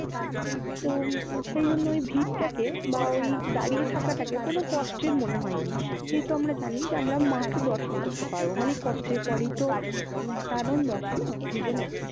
তো সেই জন্যেই ভিড়টাকে বা ওই দাঁড়িয়ে থাকাটাকে কোনো কষ্টের মনে হয় নি। যেহেতু আমরা জানি যে আমরা মাকে দর্শন করতে পারবো। মানে কষ্টের পরেই তো একটা আনন্দ আসে না, জীবনে?